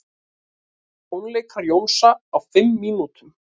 Tónleikar Jónsa á fimm mínútum